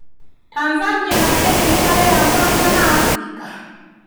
Tanzania na Kenya nĩmareyamũrania na Afrika?